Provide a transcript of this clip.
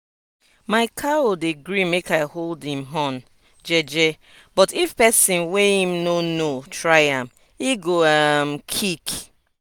my cow dey gree make i hold em horn jeje but if pesin wey em no know try am e go um kick.